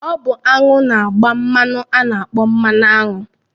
Ọ bụ aṅụ na-agba mmanụ a na-akpọ̣ mmanụaṅụ